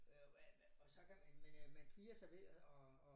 Øh hvad hvad og så kan man man øh man kvier sig ved at at